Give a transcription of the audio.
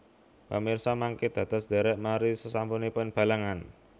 Pamirsa mangké dados ndhèrèk nari sasampunipun Balangan